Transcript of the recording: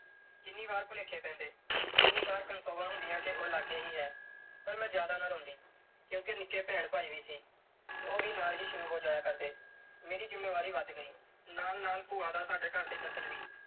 ਕਿੰਨੀ ਵਾਰ ਭੁਲੇਖੇ ਪੈਂਦੇ। ਕਿੰਨੀ ਵਾਰ ਕਨਸੋਆਂ ਹੁੰਦੀਆਂ ਕਿ ਉਹ ਲਾਗੇ ਹੀ ਹੈ ਪਰ ਮੈਂ ਜਿਆਦਾ ਨਾ ਰੋਂਦੀ ਕਿਉਂਕਿ ਨਿੱਕੇ ਭੈਣ ਭਾਈ ਵੀ ਸੀ। ਉਹ ਵੀ ਨਾਲ ਹੀ ਸ਼ੁਰੂ ਹੋ ਜਾਇਆ ਕਰਦੇ। ਮੇਰੀ ਜ਼ਿੰਮੇਵਾਰੀ ਵਧ ਗਈ। ਨਾਲ-ਨਾਲ ਭੂਆ ਦਾ ਸਾਡੇ ਘਰ 'ਚ ਦਖ਼ਲ ਵੀ।